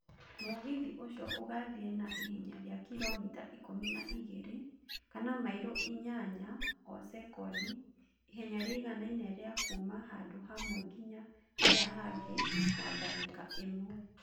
Mũgithi ũcio ũgaathiĩ na ihenya rĩa kilomita ikũmi na igĩrĩ kana mairo inyanya o sekondi, ihenya rĩiganaine rĩa kuuma handũ hamwe nginya harĩa hangĩ na ndagĩka ĩmwe.